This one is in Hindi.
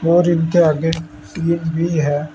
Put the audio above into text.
और इनके आगे भी है।